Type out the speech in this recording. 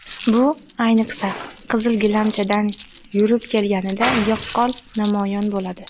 Bu ayniqsa, qizil gilamchadan yurib kelganida yaqqol namoyon bo‘ladi.